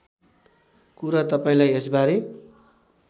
कुरा तपाईँलाई यसबारे